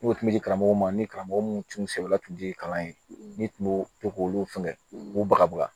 N'o tun di karamɔgɔw ma ni karamɔgɔ minnu tun sɛbɛn tun tɛ kalan ye n'i tun b'o to k'olu fɛngɛ u b'u bagabu ya